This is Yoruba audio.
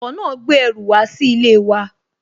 Ọkọ̀ náà gbé ẹrù wá sí ilé wa